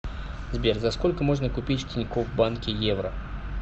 сбер за сколько можно купить в тинькофф банке евро